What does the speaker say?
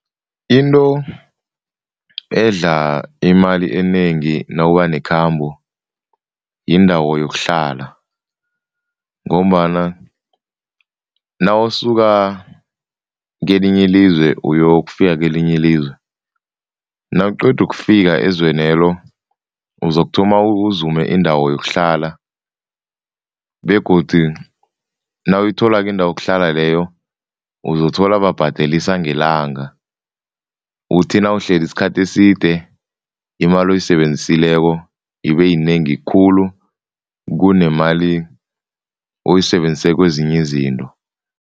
Into edla imali enengi nawuba nekhambo yindawo yokuhlala ngombana nawusuka kelinye ilizwe uyokufika kelinye ilizwe, nawuqeda ukufika ezwenelo uzokuthoma uzume indawo yokuhlala begodu nawuyitholako indawo yokuhlala leyo, uzothola babhadelisa ngelanga. Uthi nawuhlezi isikhathi eside, imali oyisebenzisileko ibeyinengi khulu kunemali oyisebenzise kwezinye izinto.